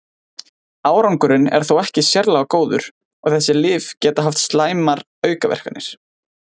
Árangurinn er þó ekki sérlega góður og þessi lyf geta haft slæmar aukaverkanir.